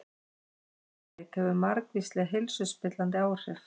Svifryk hefur margvísleg heilsuspillandi áhrif